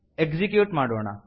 execute ಮಾಡೋಣ